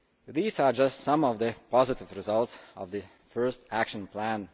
These are just some of the positive results of the first Action Plan.